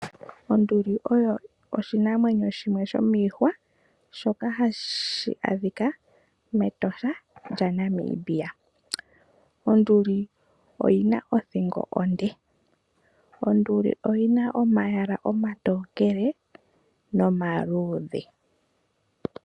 Onduli oyo oshinamwenyo shimwe shomiihwa. Shoka hashi adhika mEtosha. Onduli oyi na othingo onde. Onduli oyi na omayala omatookele nomaluudhe.